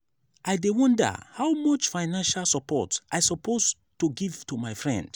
i dey wonder how much financial support i suppose to give to my friend.